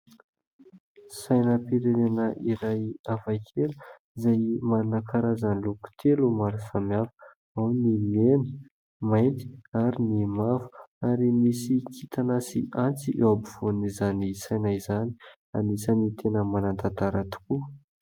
Sainam- pirenena iray hafa kely, izay manana karazany loko telo maro samihafa : ao ny mena, mainty ary ny mavo, ary misy kintana sy antsy eo ampovoan'izany saina izany ; anisany tena mana-tantara tokoa.